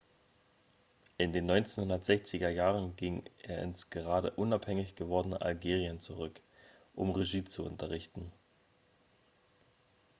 in den 1960er jahren ging er ins gerade unabhängig gewordene algerien zurück um regie zu unterrichten